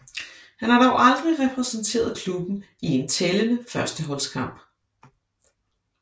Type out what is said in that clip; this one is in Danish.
Han har dog aldrig repræsenteret klubben i en tællende førsteholdskamp